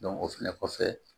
o fɛnɛ kɔfɛ